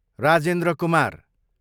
Rajendra Kumar